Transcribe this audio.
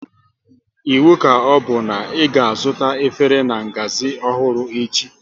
Iwu ka ọbụ na ị ga azụta efere na-ngazi ọhụrụ echi